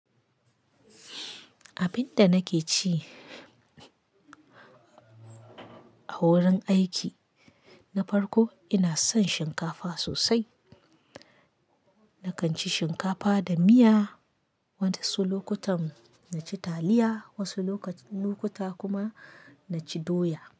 Abin da nake ci a wurin aiki na farko ina son shinkafa sosai. Nakan ci shinkafa da miya, wasu lokutan in ci taliya, wasu lokuta kuma na ci doya.